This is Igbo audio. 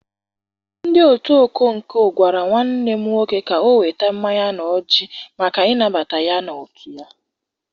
Ndị otu ọkọnkọ gwara nwanne m nwoke ka o weta mmanya na ọjị maka ịnabata ya n'otu ha.